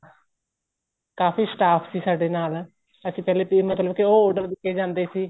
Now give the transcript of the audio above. ਕਾਫ਼ੀ staff ਸੀ ਸਾਡੇ ਨਾਲ ਅਸੀਂ ਪਹਿਲੇ ਮਤਲਬ ਕੀ ਉਹ order ਦਿੱਤੇ ਜਾਂਦੇ ਸੀ